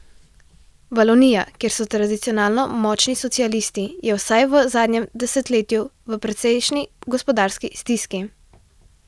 Valonija, kjer so tradicionalno močni socialisti, je vsaj v zadnjem desetletju v precejšnji gospodarski stiski.